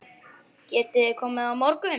Getiði komið á morgun?